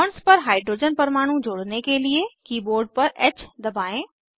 bonds पर hydrogen परमाणु जोड़ने के लिए कीबोर्ड पर ह दबाएं